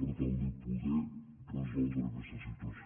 per tal de poder resoldre aquesta situació